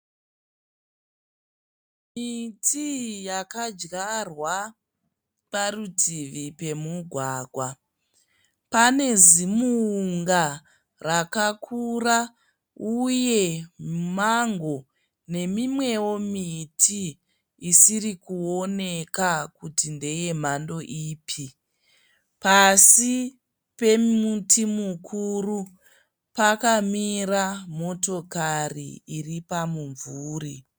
Miti yakadyarwa parutivi remugwagwa panezimunga rakakura , uye mango nemimwewo miti isiri kuoneka kuti ndeyemhando ipi , pasi pemuti mukuru pakamira motokari iripamumvuri